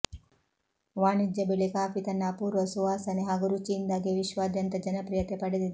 ವಾಣಿಜ್ಯ ಬೆಳೆ ಕಾಫಿ ತನ್ನ ಅಪೂರ್ವ ಸುವಾಸನೆ ಹಾಗೂ ರುಚಿಯಿಂದಾಗಿಯೇ ವಿಶ್ವಾದ್ಯಂತ ಜನಪ್ರಿಯತೆ ಪಡೆದಿದೆ